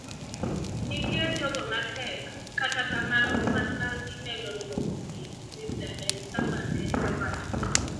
"Nitie jogo ma tek kata kamano kwan margi medo dwoko piny," Mr. Ndayisaba ne owacho.